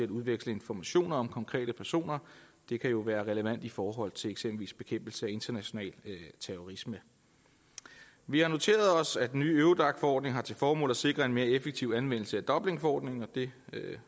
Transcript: udveksle informationer om konkrete personer det kan jo være relevant i forhold til eksempelvis bekæmpelse af international terrorisme vi har noteret os at den nye eurodac forordning har til formål at sikre en mere effektiv anvendelse af dublinforordningen og det